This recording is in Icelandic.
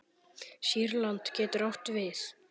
Sýrland getur átt við